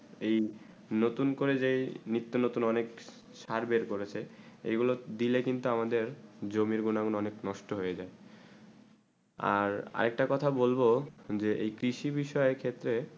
এই নতুন করে যে নিত্য নতুন অনেক চার বের করেছে এই গুলু দিলে কিন্তু আমাদের জমিন গুলু অনেক নষ্ট হয়ে যায় আর আর একটা কথা বলবো যে এই কৃষি বিষয়ে ক্ষেত্রে